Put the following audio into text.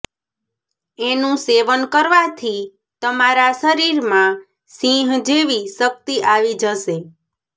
એનું સેવન કરવાંથી તમારા શરીરમાં સિંહ જેવી શક્તિ આવી જશે